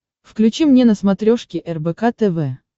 включи мне на смотрешке рбк тв